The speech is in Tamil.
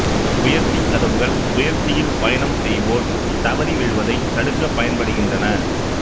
உயர்த்தி கதவுகள் உயர்த்தியில் பயணம் செய்வோர் தவறி விழுவதை தடுக்க பயன்படுகின்றன